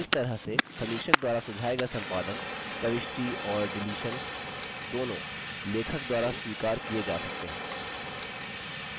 इस तरह से समीक्षक द्वारा सुझाये गये संपादन प्रविष्टि और डिलीशन्स दोनों लेखक द्वारा स्वीकार किये जा सकते हैं